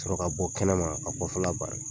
Sɔrɔ ka bɔ kɛnɛma ka kɔfɛ la bari.